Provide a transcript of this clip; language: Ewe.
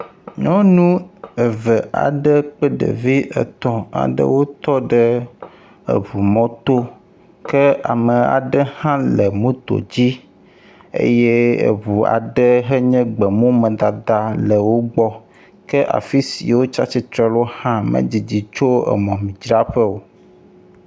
Nyɔnu eve aɖe ple ɖevi etɔ̃ aɖewo tɔ ɖe eŋumɔto ke ame aɖe hã le moto dzi eye eŋu aɖe henye gbemumadada le wo gbɔ. Ke afi si wotsi atsitre ɖo hã medidi tso emɔmemidzraƒe o.